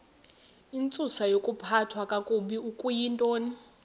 intsusayokuphathwa kakabi okuyintoni